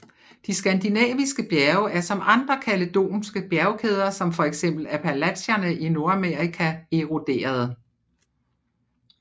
De skandinaviske bjerge er som andre kaledonske bjergkæder som fx Appalacherne i Nordamerika eroderede